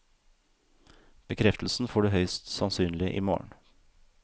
Bekreftelsen får du høyst sannsynlig i morgen.